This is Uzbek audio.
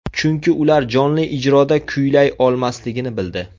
Chunki ular jonli ijroda kuylay olmasligini bildi.